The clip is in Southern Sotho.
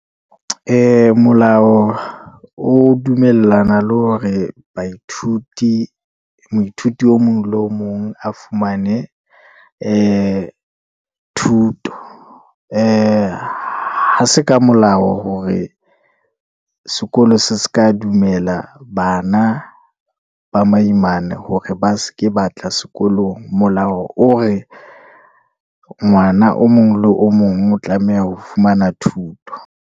Molao o dumellana le hore baithuti, moithuti o mong le o mong a fumane ee thuto. Ee ha se ka molao hore sekolo se se ka dumella bana ba maimane, hore ba se ke batla sekolong. Molao o re ngwana o mong le o mong o tlameha ho fumana thuto.